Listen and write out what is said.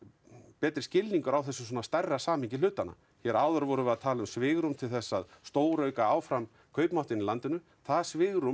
betri skilningur á þessu stærra samhengi hlutanna hér áður vorum við að tala um svigrúm til þess að stórauka áfram kaupmáttinn í landinu það svigrúm